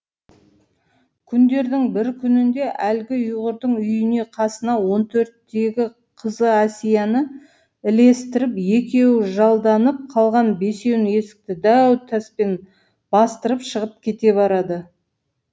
күндердің бір күнінде әлгі ұйғырдың үйіне қасына он төрттегі қызы әсияны ілестіріп екеуі жалданып қалған бесеуін есікті дәу таспен бастырып шығып кете барады